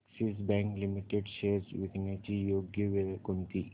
Axis Bank Limited shares विकण्याची योग्य वेळ कोणती